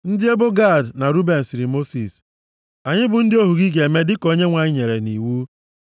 Ndị ebo Gad na Ruben sịrị Mosis, “Anyị bụ ndị ohu gị ga-eme dịka onyenwe anyị nyere nʼiwu.